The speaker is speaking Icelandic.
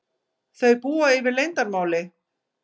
Þau búa yfir leyndarmáli.